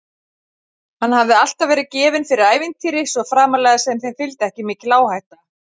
Hann hafði alltaf verið gefinn fyrir ævintýri, svo framarlega sem þeim fylgdi ekki mikil áhætta.